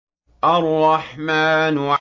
الرَّحْمَٰنُ